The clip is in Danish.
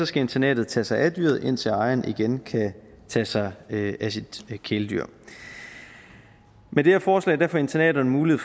skal internatet tage sig af dyret indtil ejeren igen kan tage sig af sit kæledyr med det her forslag får internaterne mulighed